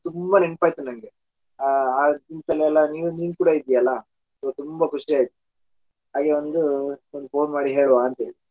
ತುಂಬಾ ನೆನಪಾಯ್ತು ನನಗೆ ಆ ಗುಂಪಲ್ಲೆಲ್ಲ ನಿನ್ ಕೂಡಾ ಇದ್ದೀಯಲಾ so ತುಂಬಾ ಖುಷಿ ಆಯ್ತು ಹಾಗೆ ಒಂದು phone ಮಾಡಿ ಹೇಳುವ ಅಂತ ಹೇಳಿ .